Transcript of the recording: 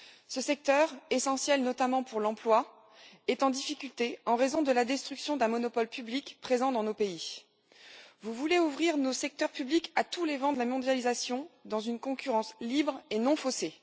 Ce secteur, essentiel notamment pour l'emploi, est en difficulté en raison de la destruction d'un monopole public présent dans nos pays. Vous voulez ouvrir nos secteurs publics à tous les vents de la mondialisation dans une concurrence libre et non faussée.